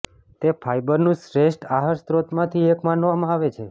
તે ફાઇબરનું શ્રેષ્ઠ આહાર સ્ત્રોતમાંથી એક માનવામાં આવે છે